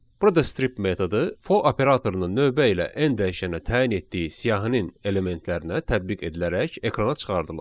Burada strip metodu for operatorunun növbə ilə n dəyişənə təyin etdiyi siyahinin elementlərinə tədbiq edilərək ekrana çıxardılır.